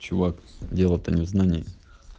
чувак дело то незнание